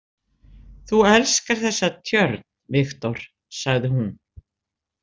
Þú elskar þessa tjörn, Viktor, sagði hún.